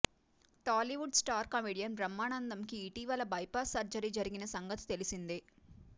Tollywood star comedian బ్రహ్మానందంకి ఇటీవల bypass surgery జరిగిన సంగతి తెలిసిందే